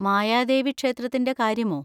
മായാദേവി ക്ഷേത്രത്തിന്‍റെ കാര്യമോ?